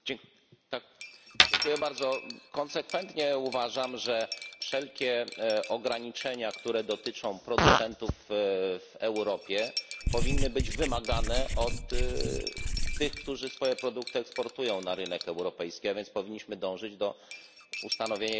Konsekwentnie uważam, że wszelkie ograniczenia, które dotyczą producentów w Europie, powinny być wymagane od tych, którzy swoje produkty eksportują na rynek europejski, a więc powinniśmy dążyć do ustanowienia jednolitej zasady w tym zakresie.